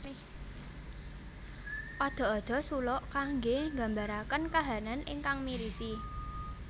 Ada ada suluk kangge mggambaraken kahanan ingkang mirisi